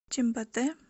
чимботе